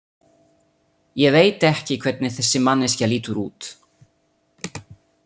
Ég veit ekki hvernig þessi manneskja lítur út.